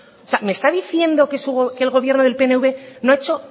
me está diciendo que el gobierno del pnv no ha hecho